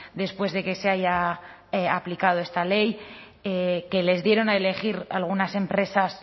después de que se haya aplicado esta ley que les dieron a elegir algunas empresas